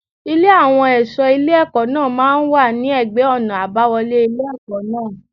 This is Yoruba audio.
Ilé àwọn ẹ̀ṣọ́ ilé ẹ̀kọ́ náà máa ń wà ní ẹ̀gbẹ́ ọ̀nà àbáwọlé ilé ẹ̀kọ́ náà.